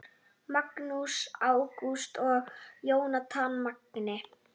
Magnús Ágúst og Jónatan Magni